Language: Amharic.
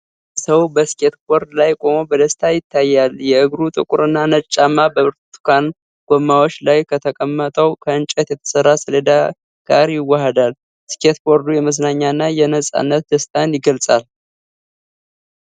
አንድ ሰው በስኬትቦርድ ላይ ቆሞ በደስታ ይታያል። የእግሩ ጥቁርና ነጭ ጫማ በብርቱካን ጎማዎች ላይ ከተቀመጠው ከእንጨት የተሰራ ሰሌዳ ጋር ይዋሐዳል። ስኬትቦርዱ የመዝናኛና የነፃነት ደስታን ይገልጻል።